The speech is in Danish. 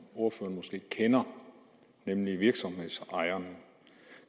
ordføreren måske kender nemlig virksomhedsejerne